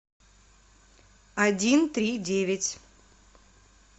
один три девять